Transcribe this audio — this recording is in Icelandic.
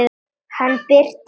Hann birtist aldrei.